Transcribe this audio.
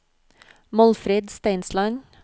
Målfrid Steinsland